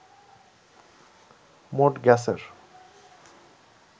মোট গ্যাসের